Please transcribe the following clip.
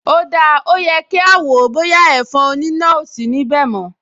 O dáa, ó yẹ kí a wò ó bóyá ẹ̀fọn oníná ò sí níbẹ̀ mọ́